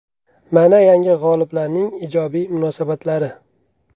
Mana yangi g‘oliblarning ijobiy munosabatlari.